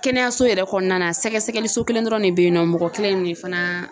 Kɛnɛyaso yɛrɛ kɔnɔna sɛgɛsɛgɛliso kelen dɔrɔn de bɛ yen nɔ mɔgɔ kelen de fana